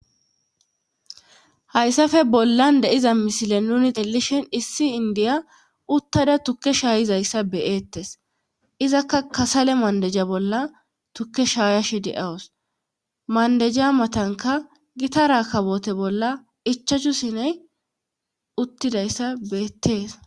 hayssafe bollan deiza misile nuni tellishin issi indiya uttada tukke shaayizayssa beyeettes izakka kasale maandeja bolla tukke shaayashi de7awus maandeja matanka gita ra kawote bolla ichachu siney uttidayssa beettees